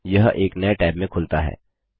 यह एक नए टैब में खुलता है